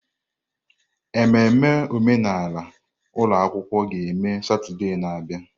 Ememme omenala ụlọ akwụkwọ ga-eme Satọde na-abịa.